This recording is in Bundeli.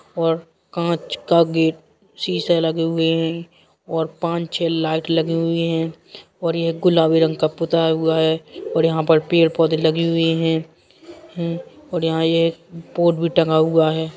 और कांच के गे सीसे लगे हुए हैं और पांच छे लाइट लगे हुए हैं और एक गुलाबी रंग का पुता हुआ हे और यहाँ पर पेड़ पौधे लगे हुए हैं और यहाँ ये बोर्ड भी टंगा हुआ है।